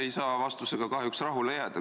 Ei saa vastusega kahjuks rahule jääda.